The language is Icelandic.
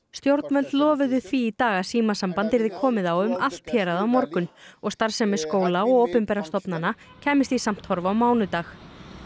stjórnvöld lofuðu því í dag að símasamband yrði komið á um allt hérað á morgun og starfsemi skóla og opinberra stofnanna kæmist í samt horf á mánudag